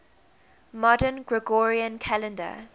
modern gregorian calendar